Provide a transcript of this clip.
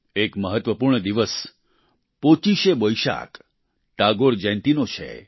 એક મહત્વપૂર્ણ દિવસ પોચિશે બોઈશાક ટાગોર જયંતિનો છે